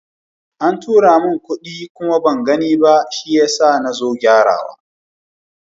An tura min kuɗi kuma ban gani ba, shi yasa nazo gyara wa.